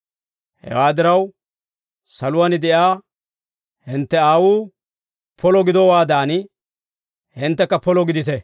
Hewaa diraw, saluwaan de'iyaa hintte Aawuu polo gidowaadan, hinttekka polo gidite.